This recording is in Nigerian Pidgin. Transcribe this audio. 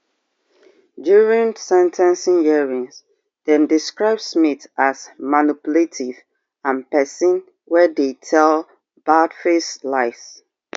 during sen ten cing hearings dem describe smith as manipulative and pesin wey dey tell baldfaced lies